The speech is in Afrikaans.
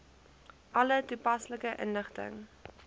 alle toepaslike inligting